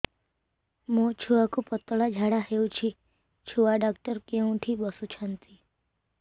ମୋ ଛୁଆକୁ ପତଳା ଝାଡ଼ା ହେଉଛି ଛୁଆ ଡକ୍ଟର କେଉଁଠି ବସୁଛନ୍ତି